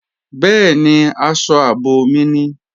Bẹ́ẹ̀ni, aṣọ ààbò mi ni